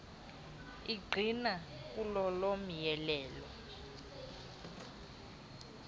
angqina kulolo myolelo